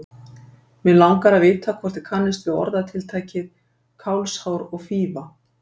Mig langar að vita hvort þið kannist við orðatiltækið kálfshár og fífa